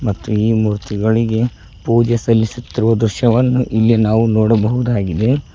ಮತ್ತು ಈ ಮೂರ್ತಿಗಳಿಗೆ ಪೂಜೆ ಸಲ್ಲಿಸುತ್ತಿರುವ ದೃಶ್ಯವನ್ನು ಇಲ್ಲಿ ನಾವು ನೋಡಬಹುದಾಗಿದೆ.